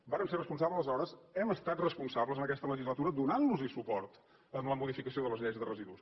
vàrem ser responsables aleshores hem estat responsables en aquesta legislatura donant los suport en la modificació de les lleis de residus